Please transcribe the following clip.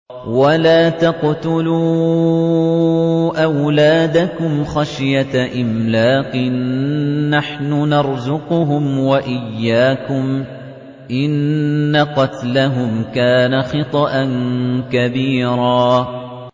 وَلَا تَقْتُلُوا أَوْلَادَكُمْ خَشْيَةَ إِمْلَاقٍ ۖ نَّحْنُ نَرْزُقُهُمْ وَإِيَّاكُمْ ۚ إِنَّ قَتْلَهُمْ كَانَ خِطْئًا كَبِيرًا